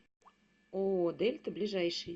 ооо дельта ближайший